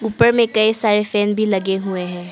ऊपर में कई सारे फैन भी लगे हुए हैं।